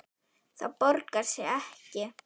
Það borgar sig ekki.